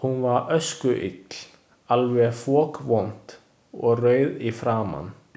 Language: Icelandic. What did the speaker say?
Hún var öskuill, alveg fokvond og rauð í framan.